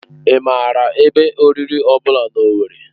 Ị maara ebe oriri ọ bụla na Owerri?